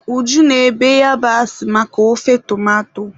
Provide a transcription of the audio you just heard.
Uju na-ebe yabasị maka ofe tomato.